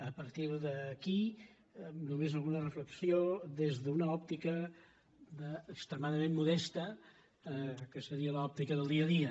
a partir d’aquí només alguna reflexió des d’una òptica extre·madament modesta que seria l’òptica del dia a dia